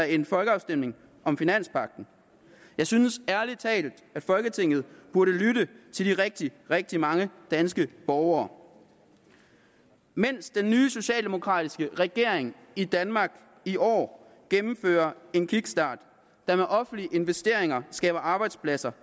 en folkeafstemning om finanspagten jeg synes ærlig talt at folketinget burde lytte til de rigtig rigtig mange danske borgere mens den nye socialdemokratiske regering i danmark i år gennemfører en kickstart der med offentlige investeringer skaber arbejdspladser